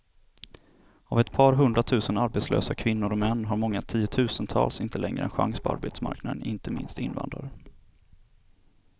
Av ett par hundratusen arbetslösa kvinnor och män har många tiotusental inte längre en chans på arbetsmarknaden, inte minst invandrare.